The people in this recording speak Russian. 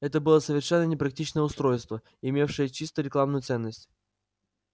это было совершенно непрактичное устройство имевшее чисто рекламную ценность